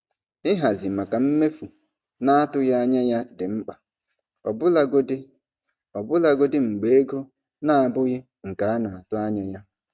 Ịhazi maka mmefu na-atụghị anya ya dị mkpa ọbụlagodi ọbụlagodi mgbe ego na-abụghị nke a na-atụ anya ya.